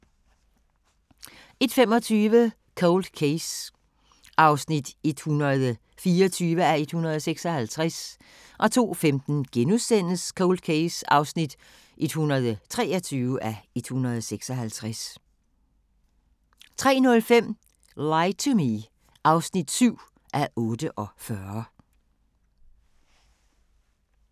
01:25: Cold Case (124:156) 02:15: Cold Case (123:156)* 03:05: Lie to Me (7:48)